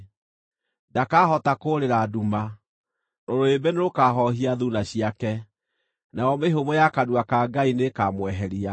Ndakahota kũũrĩra nduma; rũrĩrĩmbĩ nĩrũkahoohia thuuna ciake, nayo mĩhũmũ ya kanua ka Ngai nĩĩkamweheria.